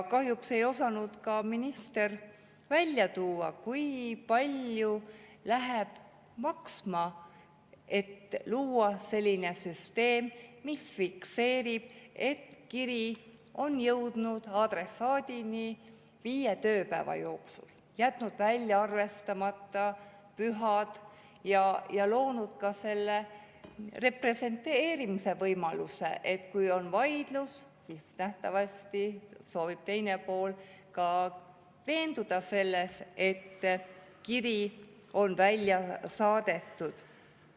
Kahjuks ei osanud minister välja tuua, kui palju läheb maksma sellise süsteemi loomine, mis fikseerib, et kiri on jõudnud adressaadini viie tööpäeva jooksul, arvestanud välja pühad ja loonud ka representeerimise võimaluse, et kui on vaidlus, siis nähtavasti soovib teine pool ka veenduda selles, et kiri on välja saadetud.